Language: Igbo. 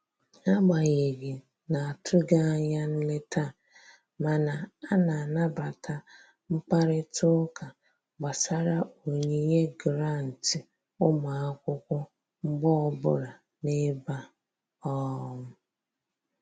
Agbanyeghị na-atụghị anya nleta a, mana a na-anabata mkparịta ụka gbasara onyinye gụrantị ụmụ akwụkwọ mgbe ọbụla n'ebe a um